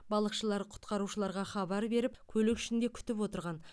балықшылар құтқарушыларға хабар беріп көлік ішінде күтіп отырған